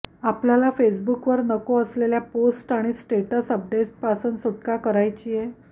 आपल्याला फेसबुकवर नको असलेल्या पोस्ट आणि स्टेटस अपडेट्सपासून सुटका करायचीय